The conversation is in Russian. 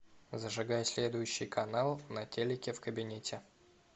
зажигай следующий канал на телике в кабинете